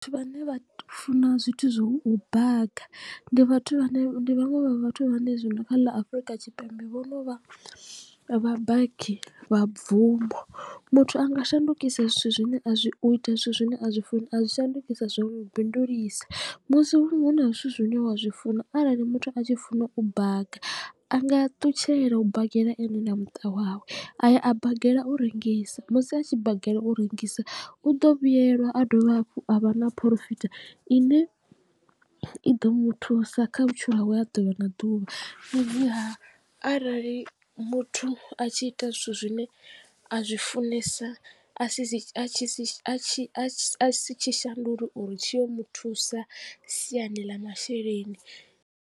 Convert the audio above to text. Vhathu vhane vha funa zwithu zwa u baga ndi vhathu vhane ndi vhaṅwe vha vhathu vhane zwino kha ḽa Afurika Tshipembe vhono vha vha baki vha bvumo. Muthu anga shandukisa zwithu zwine a zwi u ita zwithu zwine a zwi funa a zwi shandukisa zwa mu bindulisa musi hu na zwithu zwine wa zwi funa arali muthu a tshi funa u baga a nga ṱutshela u bagela ene na muṱa wawe a ya a bagela u rengisa musi a tshi bagela u rengisa u ḓo vhuyelwa a dovha hafhu a vha na porofita ine i ḓo muthusa kha vhutshilo hawe ha ḓuvha na ḓuvha. Fhedziha arali muthu a tshi ita zwithu zwine a zwi funesa a si tshi shandule uri tshi yo muthusa siani ḽa masheleni.